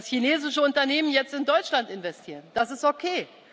Dass chinesische Unternehmen jetzt in Deutschland investieren, das ist okay.